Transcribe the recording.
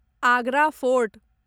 Agra fort